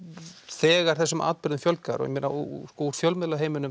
þegar þessum atburðum fjölgar úr fjölmiðlaheiminum